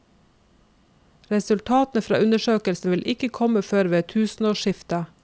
Resultatene fra undersøkelsen vil ikke komme før ved tusenårsskiftet.